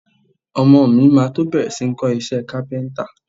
Ọmọọ̀ mi máa tó bẹ̀rẹ̀ si ní ń kọ iṣẹ́ Kápẹ́ńtà.